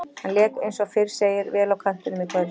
Hann lék eins og fyrr segir vel á kantinum í kvöld.